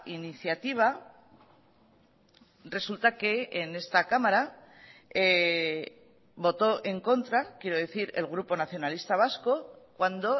iniciativa resulta que en esta cámara votó en contra quiero decir el grupo nacionalista vasco cuando